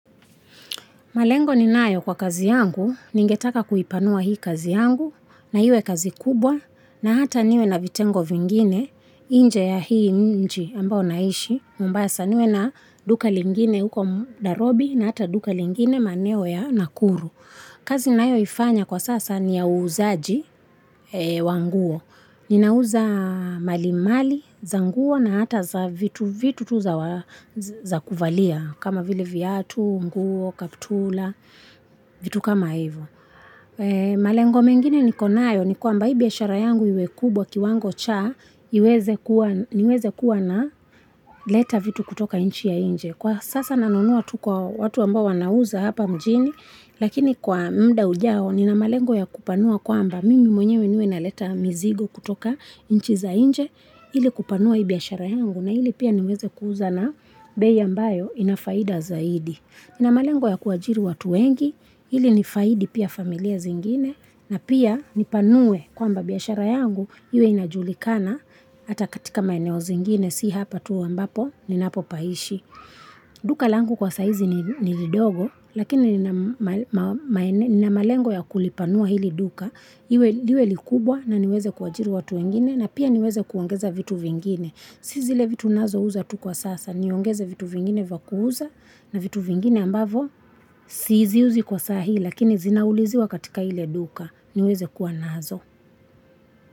Malengo ninayo kwa kazi yangu, ningetaka kuipanua hii kazi yangu, na iwe kazi kubwa, na hata niwe na vitengo vingine, nje ya hii mji ambao naishi, mombasa niwe na duka lingine huko Nairobi, na hata duka lingine maeneo ya nakuru. Kazi ninayoifanya kwa sasa ni ya uzaji wa nguo, ninauza mali mali, za nguo na hata vitu vitu tu za kuvalia kama vile viatu, nguo, kaptura vitu kama hivo. Malengo mengine niko nayo ni kwamba hii biashara yangu iwe kubwa kiwango cha niweze kuwa naleta vitu kutoka nchi ya inje. Kwa sasa nanunua tu kwa watu ambao wanauza hapa mjini, lakini kwa muda ujao nina malengo ya kupanua kwamba mimi mwenyewe niwe naleta mizigo kutoka nchi za nje ili kupanua hii biashara yangu na ili pia niweze kuuza na bei ambayo ina faida zaidi. Nina malengo ya kuajiri watu wengi, ili nifaidi pia familia zingine na pia nipanue kwamba biashara yangu, iwe inajulikana hata katika maeneo zingine, si hapa tu ambapo ninapopaishi. Duka langu kwa saa hizi ni lidogo, lakini nina malengo ya kuli panua hili duka, liwe likubwa na niweze kuajiri watu wengine na pia niweze kuongeza vitu vingine. Si zile vitu ninazo uza tu kwa sasa, niongeze vitu vingine vya kuuza na vitu vingine ambavyo siziuzi kwa sahii lakini zinauliziwa katika ile duka, niweze kuwa nazo.